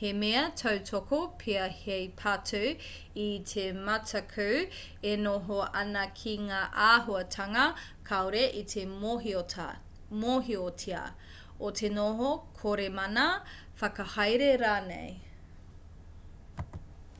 he mea tautoko pea hei patu i te mataku e noho ana ki ngā āhuatanga kāore i te mōhiotia o te noho kore mana whakahaere rānei